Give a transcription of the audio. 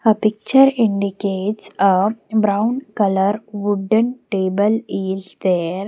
the picture indicates a brown color wooden table is there.